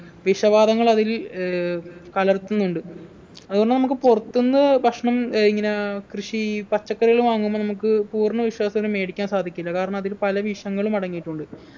വിഷവാതകങ്ങൾ അതിൽ ഏർ കലർത്തുന്നുണ്ട് അതുകൊണ്ട് നമ്മക്ക് പുറത്ത്ന്ന് ഭക്ഷണം ഏർ ഇങ്ങന കൃഷി പച്ചക്കറികൾ വാങ്ങുമ്പൊ നമുക്ക് പൂർണ വിശ്വാസത്തോടെ മേടിക്കാൻ സാധിക്കില്ല കാരണം അതിൽ പല വിഷങ്ങളും അടങ്ങീട്ടുണ്ട്